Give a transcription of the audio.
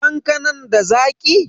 Kankanan da Zaki?